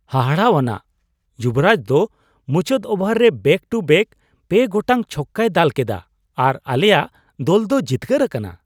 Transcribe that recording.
ᱦᱟᱦᱟᱲᱟᱣᱟᱱᱟᱜ ! ᱡᱩᱵᱳᱨᱟᱡ ᱫᱚ ᱢᱩᱪᱟᱹᱫ ᱳᱵᱷᱟᱨ ᱨᱮ ᱵᱮᱠ ᱴᱩ ᱵᱮᱠ ᱯᱮ ᱜᱚᱴᱟᱝ ᱪᱷᱚᱠᱠᱟᱭ ᱫᱟᱞ ᱠᱮᱫᱟ ᱟᱨ ᱟᱞᱮᱭᱟᱜ ᱫᱚᱞ ᱫᱚ ᱡᱤᱛᱠᱟᱹᱨ ᱟᱠᱟᱱᱟ ᱾